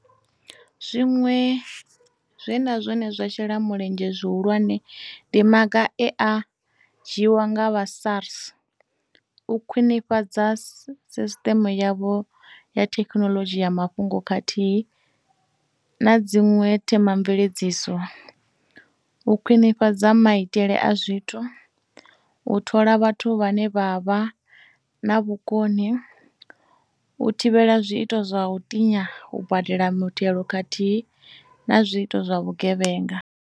Zwiṅwe zwe na zwone zwa shela mulenzhe zwihulwane, ndi maga e a dzhiiwa nga vha SARS a u khwinifhadza sisṱeme yavho ya thekinoḽodzhi ya mafhungo khathihi na dziṅwe themamveledziso, u kwinifhadza maitele a zwithu, u thola vhathu vhane vha vha na vhukoni, u thivhela zwiito zwa u tinya u badela muthelo khathihi na zwiito zwa vhugevhenga.